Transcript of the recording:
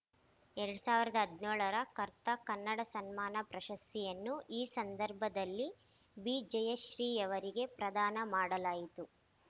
ಎರಡ್ ಸಾವಿರದ ಹದಿನೇಳರ ಕರ್ತಾ ಕನ್ನಡ ಸಮ್ಮಾನ ಪ್ರಶಸ್ತಿಯನ್ನು ಈ ಸಂಧರ್ಭದಲ್ಲಿ ಬಿಜಯಶ್ರೀಯವರಿಗೆ ಪ್ರದಾನ ಮಾಡಲಾಯಿತು